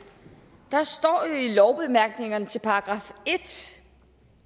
står i lovbemærkningerne til § en